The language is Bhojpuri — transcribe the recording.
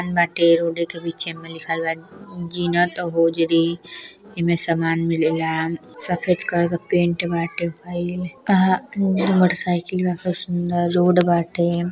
रोड के बीचे में लिखल बा एमे समान मिलेला सफ़ेद कलर के पेंट बाटे भइल अ हा मोटरसाइकिल बा खूब सुंदर रोड बाटे।